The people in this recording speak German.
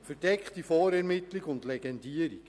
Verdeckte Vorermittlung und Legendierung: